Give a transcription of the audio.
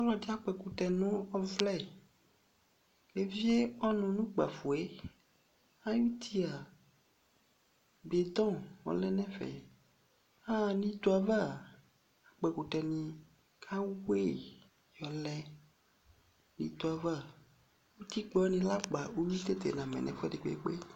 Ɔlɔdɩ akpɔ ɛkʋtɛ nʋ ɔvlɛ kʋ evie ɔnʋ nʋ ʋkpafo yɛ Ayuti a, bɩdɔ ɔlɛ nʋ ɛfɛ Aɣa nʋ ito yɛ ava a, akpɔ ɛkʋtɛnɩ kʋ ayʋɩ yɔlɛ nʋ ito yɛ ava Utikpa wanɩ lɛ akpa, uyui tete namɛ nʋ ɛfʋɛdɩ kpekpe